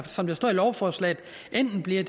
som der står i lovforslaget enten bliver